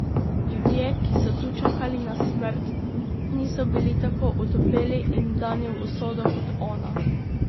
Ljudje, ki so tu čakali na smrt, niso bili tako otopeli in vdani v usodo kot ona.